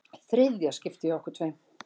Þriðja skiptið hjá okkur tveim.